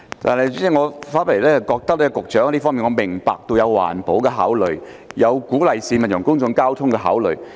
就這問題，我明白局長有環保和鼓勵市民使用公共交通工具的考慮。